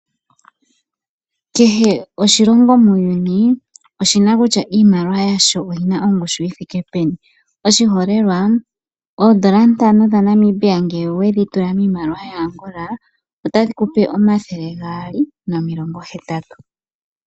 Kehe oshilongo muuyuni oshina kutya oshimaliwa shasho oshina ongushu yithike peni . Oshiholelwa N$5 ngele wedhi tula miimaliwa yaAngola otadhi kupe 280.